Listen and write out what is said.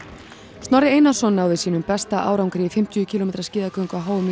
Snorri Einarsson náði sínum besta árangri í fimmtíu kílómetra skíðagöngu á h m í